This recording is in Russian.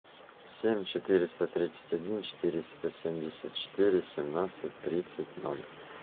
семь четыреста тридцать один четыреста семьдесят четыре семнадцать тридцать ноль